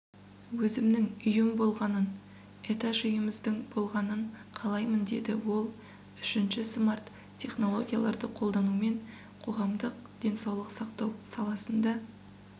өзімнің үйім болғанын этаж үйіміздің болғанын қалаймын дейді ол үшінші смарт-технологияларды қолданумен қоғамдық денсаулық сақтау саласында